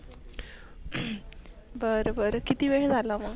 बर बर किती वेळ झाल मग?